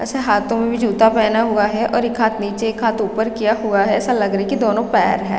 ऐसे हाथों में भी जूता पहना हुआ है और एक हाथ नीचे और एक हाथ ऊपर किया हुआ है ऐसा लग रहा है कि दोनों पैर हैं ।